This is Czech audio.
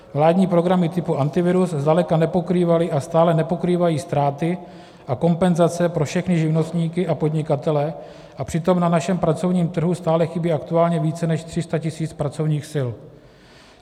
Vládní programy typu Antivirus zdaleka nepokrývaly a stále nepokrývají ztráty a kompenzace pro všechny živnostníky a podnikatele, a přitom na našem pracovním trhu stále chybí aktuálně více než 300 000 pracovních sil.